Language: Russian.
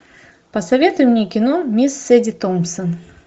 посоветуй мне кино мисс сэди томпсон